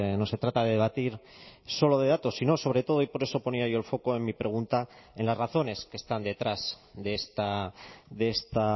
no se trata de debatir solo de datos sino sobre todo y por eso ponía yo el foco en mi pregunta en las razones que están detrás de esta